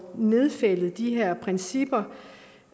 nedfældet de her principper